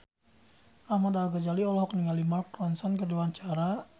Ahmad Al-Ghazali olohok ningali Mark Ronson keur diwawancara